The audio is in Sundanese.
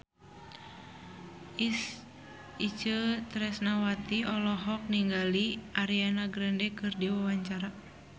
Itje Tresnawati olohok ningali Ariana Grande keur diwawancara